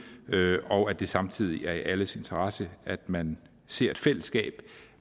derude og at det samtidig er i alles interesse at man ser et fællesskab